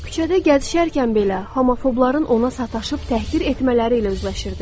Küçədə gəzişərkən belə homofobların ona sataşıb təhqir etmələri ilə üzləşirdi.